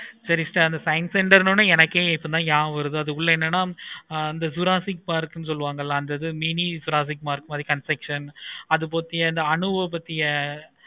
சேரி science center நீ எனக்கே என்னமோ எப்பக்கம் வருது இதுல என்னென்ன ஆஹ் anta juraasik park னு சொல்லுவாங்களா அந்த இதுல mini jurasik park மாதிரி construction அது